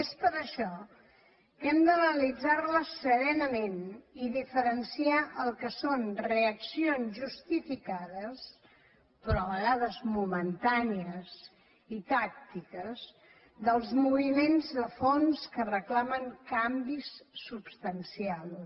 és per això que hem d’analitzar les serenament i diferenciar el que són reaccions justificades però a vegades momentànies i tàctiques dels moviments de fons que reclamen canvis substancials